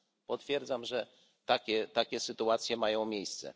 Potwierdzam, że takie sytuacje mają miejsce.